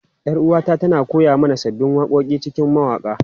Yar uwata tana koya mana sabbin waƙoƙi a cikin mawaƙa.